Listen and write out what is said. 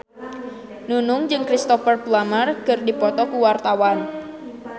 Nunung jeung Cristhoper Plumer keur dipoto ku wartawan